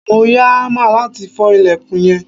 mo ya hammer lati fo ilekun yen